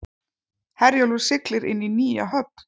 Herjólfur siglir inn í nýja höfn